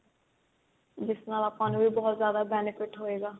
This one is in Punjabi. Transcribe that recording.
ਜਿਸ ਨਾਲ ਆਪਾਂ ਨੂੰ ਵੀ ਬਹੁਤ ਜਿਆਦਾ benefit ਹੋਇਗਾ